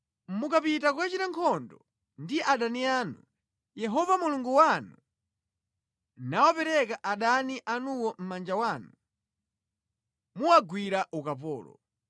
Mukapita kukachita nkhondo ndi adani anu, Yehova Mulungu wanu nawapereka adani anuwo mʼmanja mwanu muwagwira ukapolo,